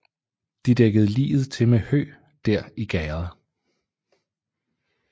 De dækkede liget til med hø der i gærdet